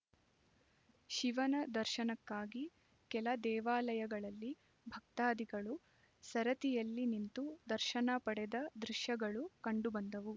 ಶಿವನ ದರ್ಶನಕ್ಕಾಗಿ ಕೆಲ ದೇವಾಲಯಗಳಲ್ಲಿ ಭಕ್ತಾದಿಗಳು ಸರತಿಯಲ್ಲಿ ನಿಂತು ದರ್ಶನ ಪಡೆದ ದೃಶ್ಯಗಳು ಕಂಡುಬಂದವು